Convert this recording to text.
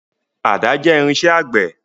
Àdá jẹ́ irinṣẹ́ àgbẹ̀.